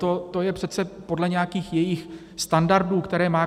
To je přece podle nějakých jejích standardů, které má.